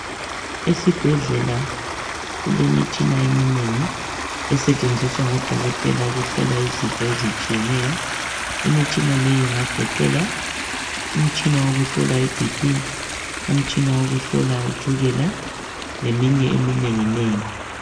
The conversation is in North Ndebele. Esibhedlela kulemitshina eminengi esetshenziswa ngodokotela ukuhlola izifo ezitshiyeneyo, imitshina le ingagoqela umtshina wokuhlola i bp, umtshina wokuhlola itshukela leminye eminenginengi.